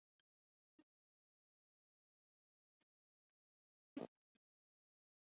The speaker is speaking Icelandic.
Yfirskrift viðskiptaþings að þessu sinni var Ísland besti í heimi?